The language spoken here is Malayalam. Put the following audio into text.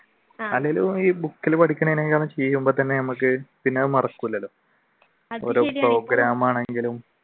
ഇൽ പഠിക്കാനേൽക്കാളും മറക്കൂലല്ലോ